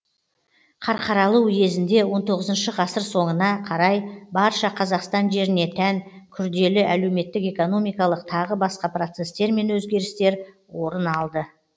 қарқаралы уезінде он тоғызыншы ғасыр соңына қарай барша қазақстан жеріне тән курделі әлеуметтік экономикалық тағы басқа процесстер мен өзгерістер орын алды